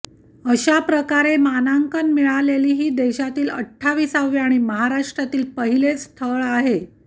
अशाप्रकारे मानांकन मिळालेली हे देशातील अठ्ठाविसावे आणि महाराष्ट्रातील पहिलेच स्थळ आहे